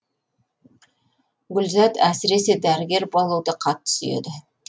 гүлзат әсіресе дәрігер болуды қатты сүйеді